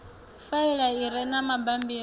faela i re na mabammbiri